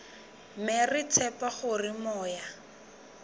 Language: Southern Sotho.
mme re tshepa hore moya